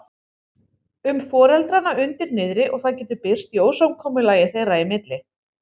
um foreldrana undir niðri og það getur birst í ósamkomulagi þeirra í milli.